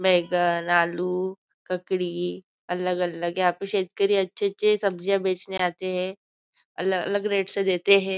बेंगन आलू ककड़ी अलग अलग यहाँ पे शेतकरी अच्छी अच्छी सब्जियां बेचने आते हैं अलग अलग रेट से देते हैं।